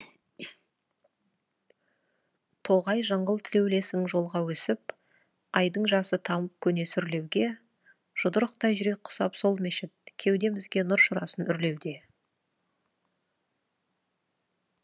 тоғай жыңғыл тілеулесің жолға өсіп айдың жасы тамып көне сүрлеуге жұдырықтай жүрек құсап сол мешіт кеудемізге нұр шырасын үрлеуде